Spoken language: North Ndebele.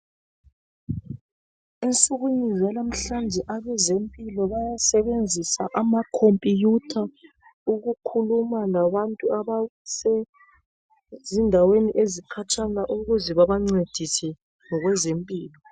Ensukwini zalamhlanje abezempilo bayasebenzisa amakhompuyutha ukukhuluma labantu abasezindaweni ezikhatshana ukuze babancedise ngokwezempilo.